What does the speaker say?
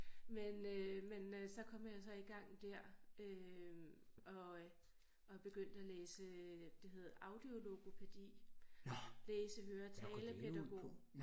Men øh men øh så kom jeg så i gang der øh og og begyndte at læse det hed audiologopædi læse høre talepædagog